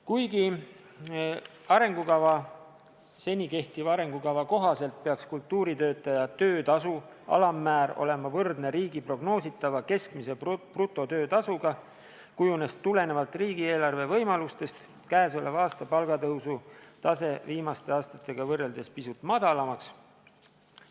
Kuigi seni kehtiva arengukava kohaselt peaks kultuuritöötaja töötasu alammäär olema võrdne riigi prognoositava keskmise brutotöötasuga, kujunes tulenevalt riigieelarve võimalustest käesoleva aasta palgatõusu tase viimaste aastatega võrreldes pisut madalamaks.